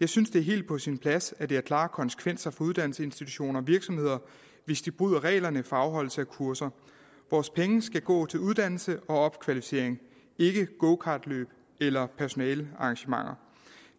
jeg synes det er helt på sin plads at det har klare konsekvenser for uddannelsesinstitutioner og virksomheder hvis de bryder reglerne for afholdelse af kurser vores penge skal gå til uddannelse og opkvalificering ikke gokartløb eller personalearrangementer